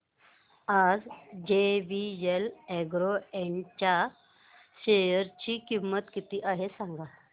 आज JVL Agro Ind च्या share ची किंमत किती आहे सांगा